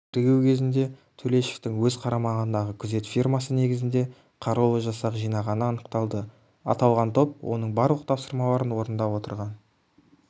тергеу кезінде төлешовтің өз қарамағындағы күзет фирмасы негізінде қарулы жасақ жинағаны анықталды аталған топ оның барлық тапсымаларын орындап отырған